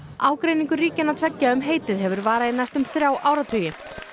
ágreiningur ríkjanna tveggja um heitið hefur varað í næstum þrjá áratugi